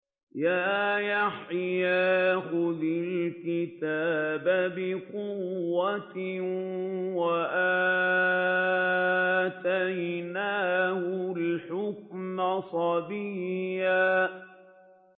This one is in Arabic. يَا يَحْيَىٰ خُذِ الْكِتَابَ بِقُوَّةٍ ۖ وَآتَيْنَاهُ الْحُكْمَ صَبِيًّا